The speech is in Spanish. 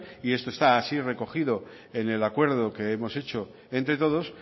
esto está así recogido en el acuerdo que hemos hecho entre todos